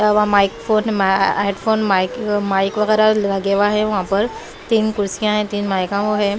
Mic phone headphone mic mic वगैरह लगे हुआ है वहां पर तीन कुर्सियां है तीन माइक है।